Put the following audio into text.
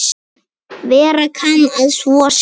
Vera kann að svo sé.